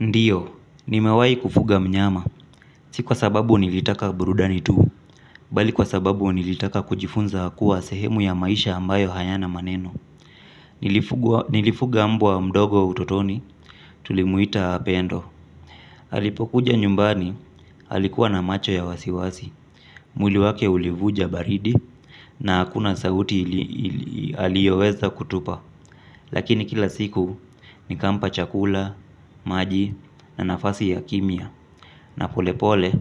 Ndiyo, nimewahi kufuga mnyama, si kwa sababu nilitaka burudani tu bali kwa sababu nilitaka kujifunza kuwa sehemu ya maisha ambayo hayana maneno nilifuga nilifuga umbwa mdogo utotoni, tulimuita pendo. Alipokuja nyumbani alikuwa na macho ya wasiwasi mwili wake ulivunja baridi na hakuna sauti aliyoweza kutupa. Lakini kila siku nikampa chakula, maji na nafasi ya kimya. Na pole pole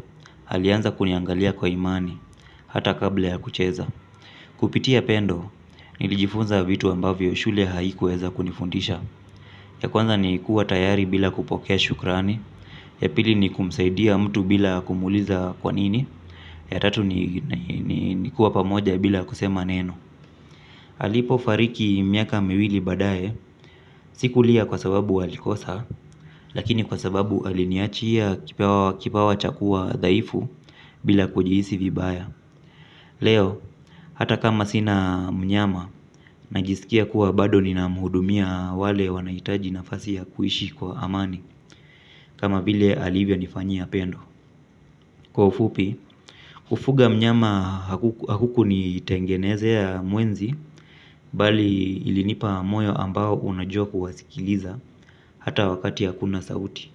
alianza kuniangalia kwa imani hata kabla ya kucheza. Kupitia pendo nilijifunza vitu ambavyo shule haikuweza kunifundisha ya kwanza ni kuwa tayari bila kupokea shukrani ya pili ni kumsaidia mtu bila kumuuliza kwanini ya tatu ni ni kuwa pamoja bila kusema neno alipo fariki miaka miwili baadaye sikulia kwa sababu walikosa lakini kwa sababu aliniachia kipawa cha kuwa dhaifu bila kujihisi vibaya. Leo hata kama sina mnyama najiskia kuwa bado nina mhudumia wale wanahitaji nafasi ya kuishi kwa amani kama vile alivyo nifanyia pendo. Kwa ufupi kufuga mnyama hakuku ni tengenezea mwenzi bali ilinipa moyo ambao unajua kuwasikiliza hata wakati hakuna sauti.